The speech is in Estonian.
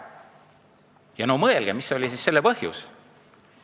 Ja mõelge, mis oli siis selle põhjus!